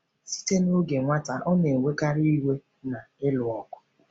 Site n’oge nwata, ọ na-enwekarị iwe na ịlụ ọgụ.